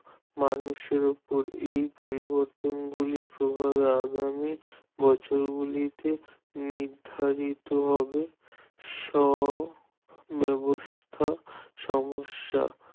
মানুষের উপর এ পরিবর্তনগুলির প্রভাবে আগামী বছরগুলিতে নির্ধারিত হবে স্ব-ব্যবস্থা সমস্যা